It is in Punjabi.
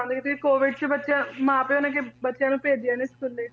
ਬੰਦ ਸੀ COVID 'ਚ ਬੱਚਿਆਂ, ਮਾਂ ਪਿਓ ਨੇ ਜੇ ਬੱਚਿਆਂ ਨੂੰ ਭੇਜਿਆਂ ਨੀ ਸਕੂਲੇ